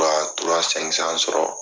sɔrɔ